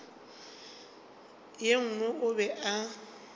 ye nngwe o be a